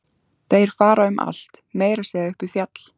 Þeir fara um allt, meira að segja upp í fjall.